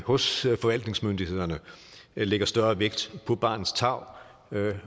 hos forvaltningsmyndighederne lægger større vægt på barnets tarv